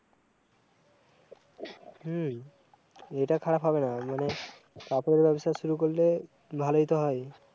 হম এটা খারাপ হবেনা, মানে কাপড়ের ব্যবসা শুরু করলে ভালই তো হয়